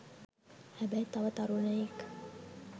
හැබැයි තව තරුණයෙක්